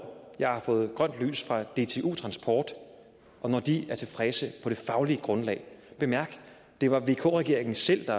jeg har fået grønt lys fra dtu transport og når de er tilfredse på det faglige grundlag bemærk at det var vk regeringen selv der